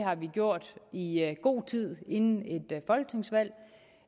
har vi gjort i god tid inden